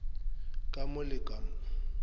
ka mo le ka mo